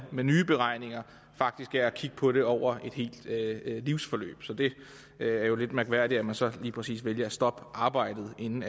med nye beregninger faktisk er at kigge på det over et helt livsforløb så det er jo lidt mærkværdigt at man så lige præcis vælger at stoppe arbejdet inden